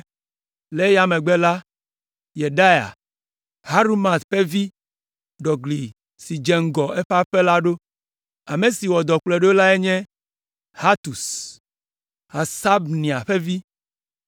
Le eya megbe la, Yedaia, Harumaf ƒe vi ɖɔ gli si dze ŋgɔ eƒe aƒe la ɖo. Ame si wɔ dɔ kplɔe ɖo lae nye Hatus, Hasabnia ƒe vi.